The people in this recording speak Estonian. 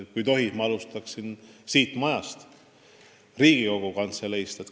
Kui tohib, ma alustan siit majast, Riigikogu Kantseleist.